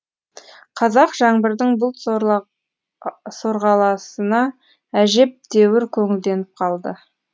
қазақ жаңбырдың бұл сорғаласына әжептәуір көңілденіп қалды